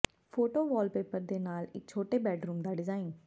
photo wallpaper ਦੇ ਨਾਲ ਇੱਕ ਛੋਟੇ ਬੈਡਰੂਮ ਦਾ ਡਿਜ਼ਾਇਨ